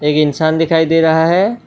एक इंसान दिखाई दे रहा है।